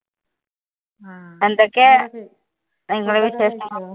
എന്തൊക്കെയാ നിങ്ങടെ വിശേഷങ്ങൾ?